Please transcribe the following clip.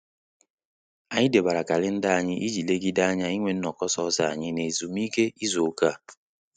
Anyị debere kalenda anyị iji legide anya inwe nnoko sọsọ anyị na ezumike izu ụka a